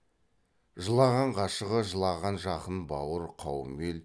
жылаған ғашығы жылаған жақын бауыр қауым ел